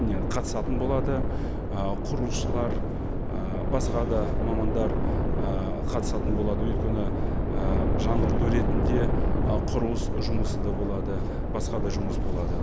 не қатысатын болады ы құрылысшылар ы басқа да мамандар ы қатысатын болады өйткені ы жаңғырту ретінде ы құрылыс жұмысы да болады басқа да жұмыс болады